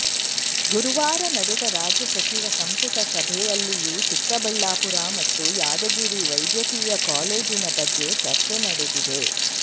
ಗುರುವಾರ ನಡೆದ ರಾಜ್ಯ ಸಚಿವ ಸಂಪುಟ ಸಭೆಯಲ್ಲಿಯೂ ಚಿಕ್ಕಬಳ್ಳಾಪುರ ಮತ್ತು ಯಾದಗಿರಿ ವೈದ್ಯಕೀಯ ಕಾಲೇಜಿನ ಬಗ್ಗೆ ಚರ್ಚೆ ನಡೆದಿದೆ